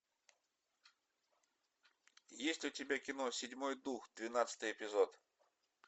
есть у тебя кино седьмой дух двенадцатый эпизод